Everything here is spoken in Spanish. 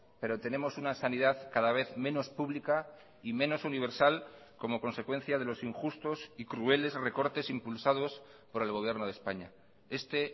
pero tenemos una sanidad cada vez menos pública y menos universal como consecuencia de los injustos y crueles recortes impulsados por el gobierno de españa este